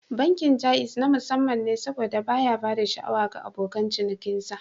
Bankin Jaiz na musamman ne saboda baya ba da sha'awa ga abokan cinikinsa